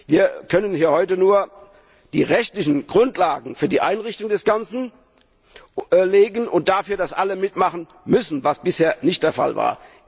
Wir können hier heute nur die rechtlichen Grundlagen für die Einrichtung des Ganzen legen und dafür sorgen, dass alle mitmachen müssen, was bisher nicht der Fall war.